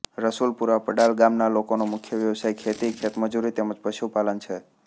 રસુલપુરા પડાલ ગામના લોકોનો મુખ્ય વ્યવસાય ખેતી ખેતમજૂરી તેમ જ પશુપાલન છે